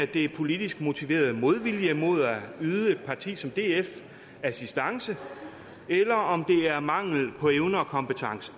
det er politisk motiveret modvilje imod at yde et parti som df assistance eller om det er mangel på evne og kompetence